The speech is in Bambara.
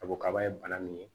A ko kaba ye bana min ye